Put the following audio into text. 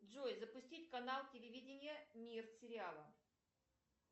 джой запустить канал телевидения мир сериала